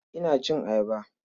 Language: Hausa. Ina cin ayaba.